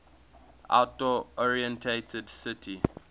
outdoor oriented city